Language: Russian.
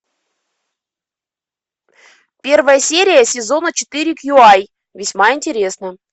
первая серия сезона четыре кью ай весьма интересно